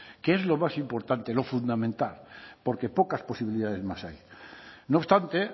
que es lo más importante lo fundamental porque pocas posibilidades más hay no obstante